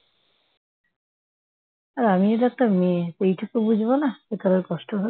আর আমিও তো একটা মেয়ে এইটুকু বুঝবো না যে কারো কষ্ট হবে